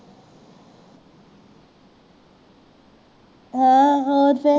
ਹਾਂ ਹੋਰ ਫੇਰ